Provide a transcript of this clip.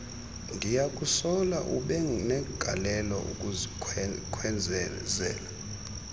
ndiyakusola ubenegalelo ekukhwezeleni